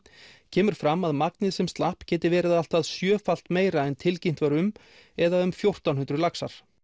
kemur fram að magnið sem slapp geti verið allt að sjöfalt meira en tilkynnt var um eða um fjórtán hundruð laxar